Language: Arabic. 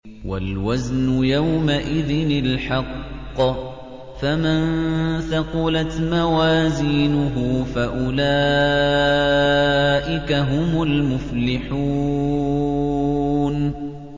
وَالْوَزْنُ يَوْمَئِذٍ الْحَقُّ ۚ فَمَن ثَقُلَتْ مَوَازِينُهُ فَأُولَٰئِكَ هُمُ الْمُفْلِحُونَ